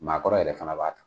Maa kɔrɔ yɛrɛ fanaba ta.